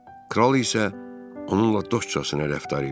Kral isə onunla dostcasına rəftar eləyir.